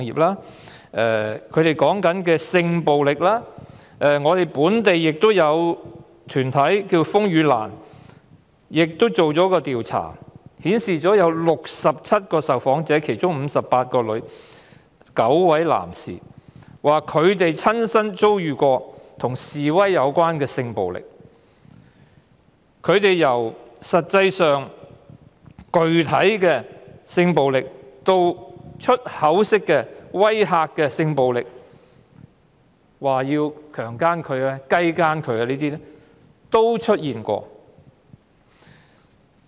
直至今天，本地團體風雨蘭也作出了調查，訪問了58女、9男，共67位受訪者，表示親身遭遇與示威有關的性暴力，由具體的性暴力，以至語言上的性暴力，威嚇要強姦、雞姦等，也曾出現。